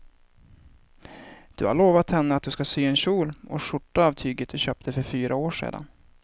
Du har lovat henne att du ska sy en kjol och skjorta av tyget du köpte för fyra år sedan.